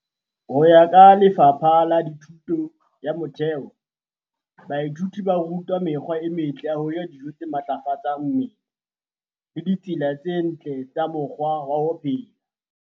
Ho ya ka Lefapha la Thuto ya Motheo, DBE, baithuti ba rutwa mekgwa e metle ya ho ja dijo tse matlafatsang mmele le ditsela tse ntle tsa mokgwa wa ho phela.